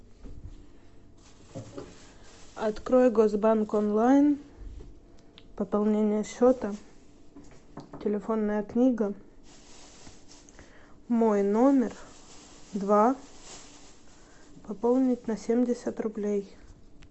открой госбанк онлайн пополнение счета телефонная книга мой номер два пополнить на семьдесят рублей